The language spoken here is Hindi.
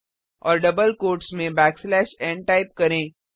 और डबल क्वोट्स डबल कॉमा में बैकस्लैश nटाइप करें